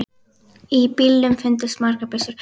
Í bílnum fundust margar byssur.